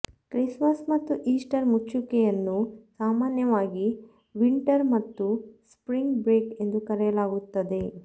Christmas ಮತ್ತು Easter ಮುಚ್ಚುವಿಕೆಯನ್ನು ಸಾಮಾನ್ಯವಾಗಿ ವಿಂಟರ್ ಮತ್ತು ಸ್ಪ್ರಿಂಗ್ ಬ್ರೇಕ್ ಎಂದು ಕರೆಯಲಾಗುತ್ತದೆ